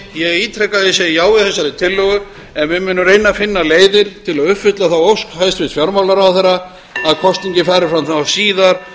ég segi já við þessari tillögu en við munum reyna að finna leiðir til að uppfylla þá ósk hæstvirts fjármálaráðherra að kosningin fari fram síðar